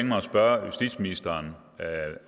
mig at spørge justitsministeren